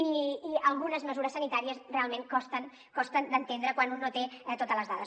i algunes mesures sanitàries realment costen costen d’entendre quan un no té totes les dades